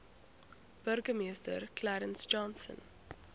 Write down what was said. burgemeester clarence johnson